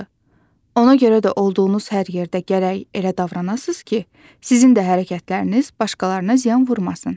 Ona görə də olduğunuz hər yerdə gərək elə davranasız ki, sizin də hərəkətləriniz başqalarına ziyan vurmasın.